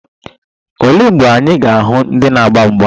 Olee mgbe anyị ga-ahụ ndị na-agba mgba?